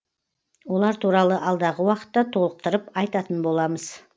олар туралы алдағы уақытта толықтырып айтатын боламыз